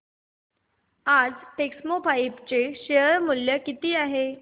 आज टेक्स्मोपाइप्स चे शेअर मूल्य किती आहे